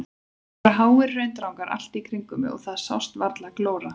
Það voru háir hraundrangar allt í kringum mig og það sást varla glóra.